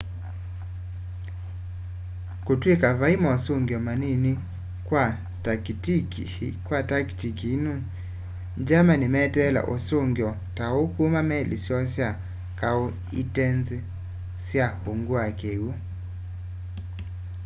kutw'ika vei mosungio manini kwa takitiki ii germany meteele usungio ta uu kuma kwa meli syoo sya kau itenziîe sya ungu wa kiwu